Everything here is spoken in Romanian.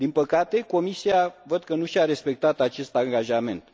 Din păcate, Comisia văd că nu și a respectat acest angajament.